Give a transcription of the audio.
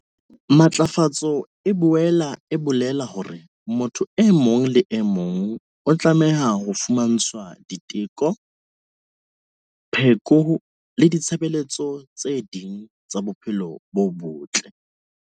Matlafatso e boela e bolela hore motho e mong le e mong o tlameha ho fumantshwa diteko, pheko le ditshebeletso tse ding tsa bophelo bo botle.